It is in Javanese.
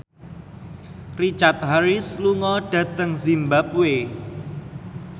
Richard Harris lunga dhateng zimbabwe